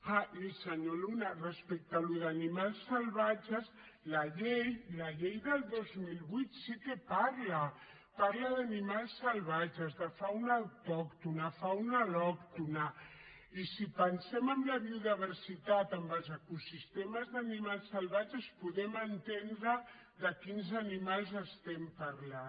ah i senyor luna respecte a allò d’animals salvatges la llei del dos mil vuit sí que en parla parla d’animals salvatges de fauna autòctona de fauna al·lòctona i si pensem en la biodiversitat en els ecosistemes d’animals salvatges podem entendre de quins animals estem parlant